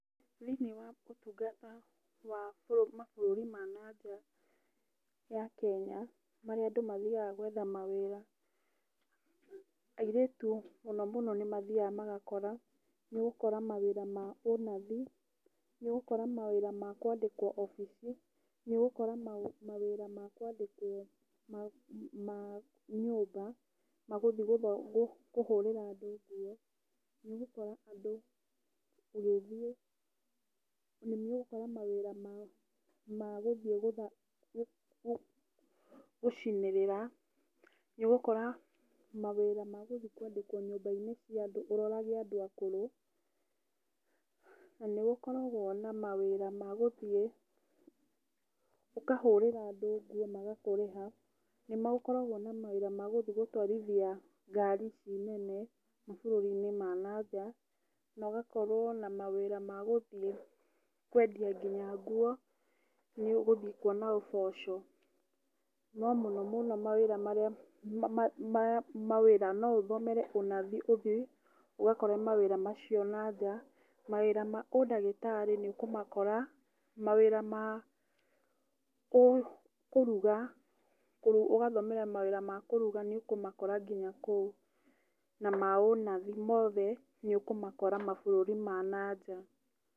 Thĩiniĩ wa ũtungata wa mabũrũri ma na nja ya Kenya, marĩa andũ mathiaga gwetha mawĩra, airĩtu mũno mũno nĩ mathiaga magakora, nĩ ũgũkora mawĩra ma ũnathi, nĩ ũgũkora mawĩra ma kwandĩkwo obici, nĩ ũgũkora mawĩra ma kwandĩkwo ma nyũmba, ma gũthiĩ kũhũrĩra andũ nguo, nĩ ũgũkora andũ ũgĩthiĩ, na nĩ ũgũkora mawĩra ma gũthiĩ gũcinĩrĩra, nĩ ugũkora mawĩra ma gũthiĩ kwandĩkwo nyũmba-inĩ cia andũ ũrorage andũ akũrũ, na nĩ gũkoragwo na mawĩra ma gũthiĩ ũkahũrira andũ nguo magakũrĩha. Nĩ makoragwo na mawĩra ma guthiĩ gũtwarithia ngari ici nene mabũrũri-inĩ ma na nja na ũgakorwo na mawĩra ma gũthiĩ kwendia nginya nguo, nĩ ũgũthiĩ kuona ũboco. No mũno mũno mawĩra marĩa no ũthomere ũnathi uthiĩ ũgakore mawĩra macio na nja. Mawĩra ma ũndagĩtarĩ nĩ ũkũmakora, mawĩra ma kũruga, ũgathomera mawĩra ma kũruga nĩ ũkũmakora nginya kũu. Na ma ũnathi mothe nĩ ũkũmakora mabũrũri ma nanja.